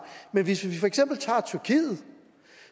men hvis vi for eksempel tager tyrkiet